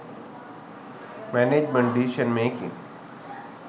management decision making